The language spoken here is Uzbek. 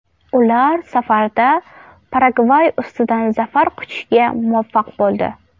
Ular safarda Paragvay ustidan zafar quchishga muvaffaq bo‘ldi.